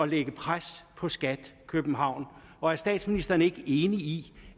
lægge pres på skat københavn og er statsministeren ikke enig i